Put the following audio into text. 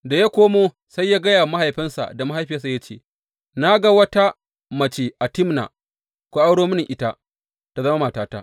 Da ya komo, sai ya gaya wa mahaifinsa da mahaifiyarsa ya ce, Na ga wata mace a Timna; ku auro mini ita ta zama matata.